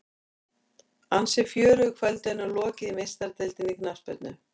Ansi fjörugu kvöldi er nú lokið í Meistaradeildinni í knattspyrnu.